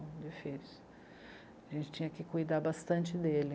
Difícil. A gente tinha que cuidar bastante dele.